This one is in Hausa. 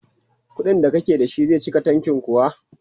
Kuɗin da kake da shi zai cika tanki kuwa?